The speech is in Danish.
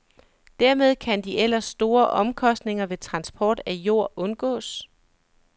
Dermed kan de ellers store omkostninger ved transport af jord undgås.